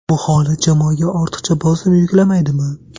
Bu holat jamoaga ortiqcha bosim yuklamaydimi?